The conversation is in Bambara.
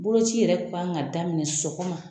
Boloci yɛrɛ k'an ka daminɛ sɔgɔma